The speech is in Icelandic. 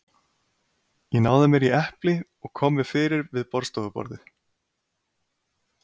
Ég náði mér í epli og kom mér fyrir við borðstofuborðið.